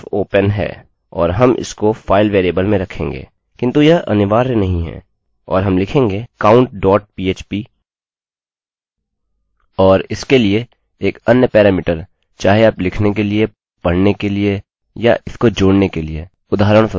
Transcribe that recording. और हम लिखेंगे countphp और इसके लिए एक अन्य पैरामीटर चाहे आप लिखने के लिए पढ़ने के लिए या इसको जोड़ने के लिए उदाहरणस्वरुप